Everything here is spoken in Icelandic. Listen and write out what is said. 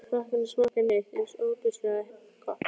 Aldrei höfðu krakkarnir smakkað neitt eins ofboðslega gott.